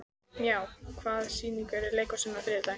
Maj, hvaða sýningar eru í leikhúsinu á þriðjudaginn?